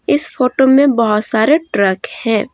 इस फोटो में बहुत सारे ट्रक है।